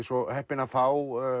svo heppinn að fá